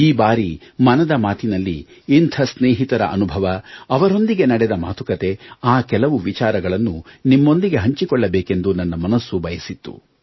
ಈ ಬಾರಿ ಮನದ ಮಾತಿನಲ್ಲಿ ಇಂಥ ಸ್ನೇಹಿತರ ಅನುಭವ ಅವರೊಂದಿಗೆ ನಡೆದ ಮಾತುಕತೆ ಆ ಕೆಲವು ವಿಚಾರಗಳನ್ನು ನಿಮ್ಮೊಂದಿಗೆ ಹಂಚಿಕೊಳ್ಳಬೇಕೆಂದು ನನ್ನ ಮನಸ್ಸು ಬಯಸಿತ್ತು